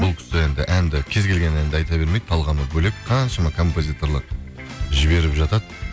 бұл кісі енді әнді кез келген әнді айта бермейді талғамы бөлек қаншама композиторлар жіберіп жатады